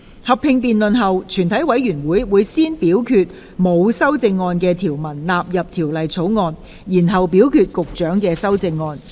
合併辯論結束後，全體委員會會先表決沒有修正案的條文納入《條例草案》，然後表決局長的修正案。